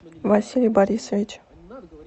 василий борисович